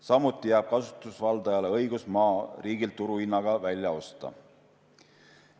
Samuti jääb kasutusvaldajale õigus maa riigilt turuhinnaga välja osta.